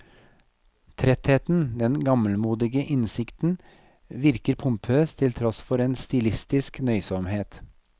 Trettheten, den gammelmodige innsikten virker pompøs til tross for en stilistisk nøysomhet.